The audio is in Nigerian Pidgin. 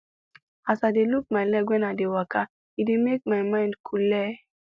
as i dey look my leg whem i dey waka e dey make my mind coole